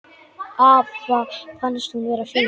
Afa fannst hún vera fín.